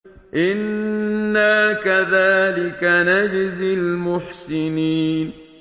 إِنَّا كَذَٰلِكَ نَجْزِي الْمُحْسِنِينَ